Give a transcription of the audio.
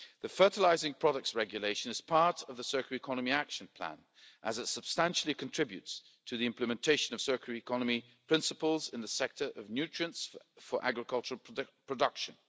The fertilising products regulation is part of the circular economy action plan, as it substantially contributes to the implementation of circular economy principles in the sector of nutrients for agricultural production.